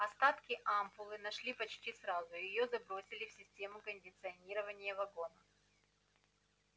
остатки ампулы нашли почти сразу её забросили в систему кондиционирования вагона